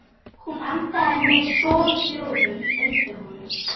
Hún andaði með soghljóðum undir honum.